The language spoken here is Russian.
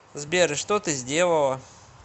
сбер и что ты сделала